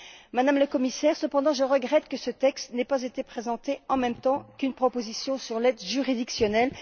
Madame la Commissaire, je regrette cependant que ce texte n'ait pas été présenté en même temps qu'une proposition sur l'aide juridictionnelle.